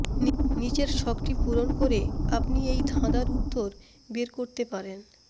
নিচের ছকটি পূরণ করে আপনি এই ধাঁধার উত্তর বের করতে পারেন